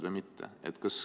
Aga see selleks.